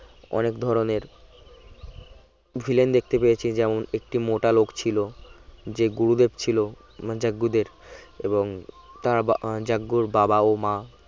অনেক ধরনের villain দেখতে পেয়েছি যেমন একটি মোটা লোক ছিল যে গুরুদেব ছিল যে গুরুদেব এবং যার বাবা ও মা